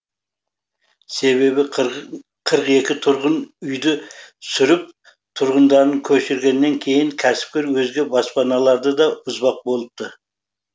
себебі қырық екі тұрғын үйді сүріп тұрғындарын көшіргеннен кейін кәсіпкер өзге баспаналарды да бұзбақ болыпты